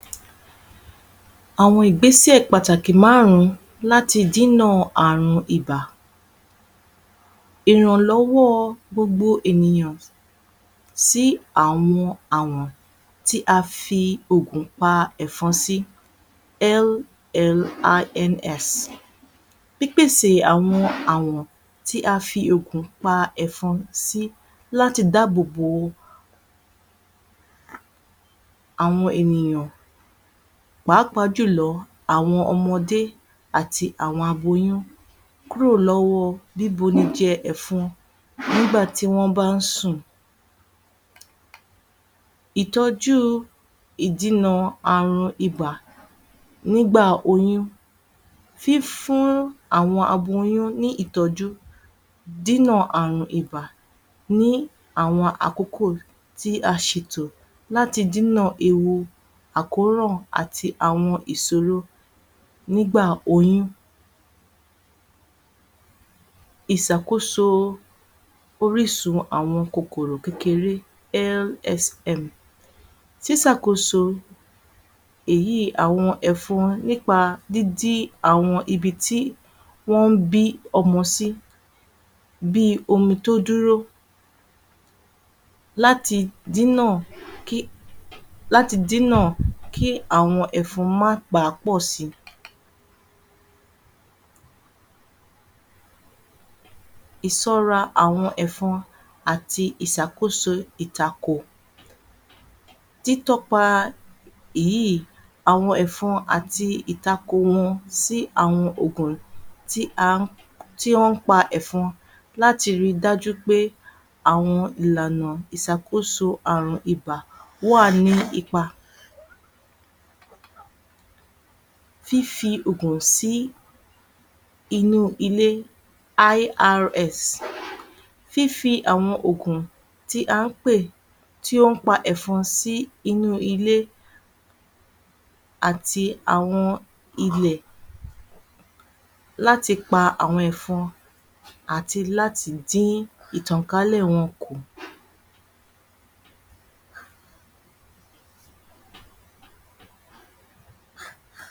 Àwọn ìgbésẹ̀ pàtàkì márùn-ún láti dínà àrùn ibà. Ìrànlọ́wọ́ gbogbo ènìyàn sí àwọn àwọ̀n tí a fi oògùn ìpa ẹ̀fọn sí. Pípèsè àwọn àwọ̀n tí a fi oògùn ìpa ẹ̀fọn sí láti dáàbò bò àwọn ènìyàn pàápàá jùlọ àwọn ọmọdé àti àwọn aboyún kúrò lọ́wọ́ bíbu ni jẹ ẹ̀fọn nígbà tí wọn bá ń sùn. Ìtọ́jú ìdinà àrùn ibà nígbà oyún. Fífún àwọn aboyún ní ìtọ́jú dínà àrùn ibà ni àwọn àkókò tí a ṣètò láti dínà ewu àkórò àti àwọn ìṣòro nígbà oyún. Ìṣàkóso orísun àwọn kòkòrò kékeré. Ṣíṣàkóso èyí àwọn ẹ̀fọn nípa dídí àwọn ibi tí wọn ń bí ọmọ sí. Bí omi tí ó dúró. Láti dínà kí, láti dínà kí àwọn ẹ̀fọn má bà pọ̀ si. Ìṣọ́ra àwọn ẹ̀fọn àti ìṣàkóso ìtakò. Tí tọ́ka èyí àwọn ẹ̀fọn àti ìtakò wọn sí àwọn oògùn tí a, wọn ń pa ẹ̀fọn láti rí dájú pé àwọn ìlànà ìṣàkóso àrùn ibà wá ní ipa. Fífi oògùn sí inú ilé. Fífi àwọn oògùn tí a ń pè tí ó ń pa ẹ̀fọn sínú ilé àti àwọn ilẹ̀ láti pa àwọn ẹ̀fọn àti láti dí ìtọ̀kálẹ̀ wọn kù.